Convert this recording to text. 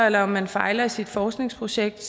eller man fejler i sit forskningsprojekt